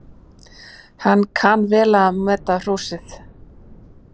Hann kann vel að meta hrósið.